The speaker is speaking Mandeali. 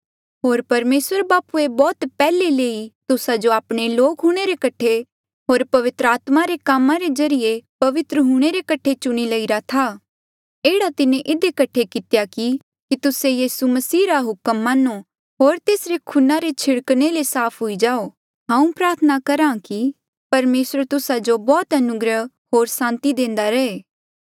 होर परमेसर बापूए बौह्त पैहले ले ही तुस्सा जो आपणे लोक हूंणे रे कठे होर पवित्र आत्मा रे कामा रे ज्रीए पवित्र हूंणे रे कठे चुणी लईरा था एह्ड़ा तिन्हें इधी कठे कितेया की तुस्से यीसू मसीह रा हुक्म मान्नो होर तेसरे खूना रे छिड़कणे ले साफ हुई जाओ हांऊँ प्रार्थना करहा कि परमेसर तुस्सा जो बौह्त अनुग्रह होर सांति देंदा रहे